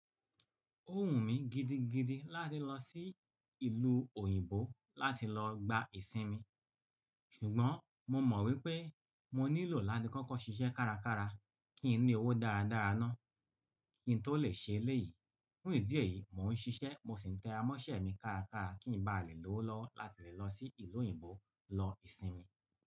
Ó wù mí gidigidi láti lọ sí ìlú òyìnbó láti lọ gba ìsinmi, ṣùgbọ́n mo mọ̀ wípé mo nílò láti kọ́kọ́ ṣiṣẹ́ kárakára kí n ní owó dáradára náà kí n tó lè ṣe eléyìí. Fún ìdí èyí, mò ń ṣiṣẹ́ mo sì ń tẹra mọ́ṣẹ́ mi kárakára kí n ba à lè lowo lọwo láti lè lọ sí ìlú òyìnbó lọ ìsinmi.